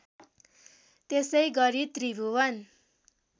त्यसै गरी त्रिभुवन